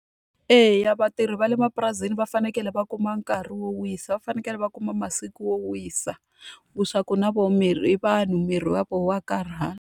Eya vatirhi va le mapurasini va fanekele va kuma nkarhi wo wisa, va fanekele va kuma masiku wo wisa. Leswaku na vona miri i vanhu miri wa vona wa karhala.